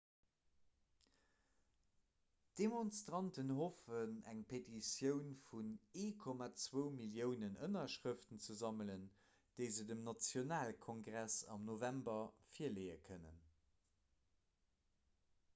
d'demonstranten hoffen eng petitioun vun 1,2 milliounen ënnerschrëften ze sammelen déi se dem nationalkongress am november virleeë kënnen